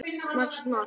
Magnús Már.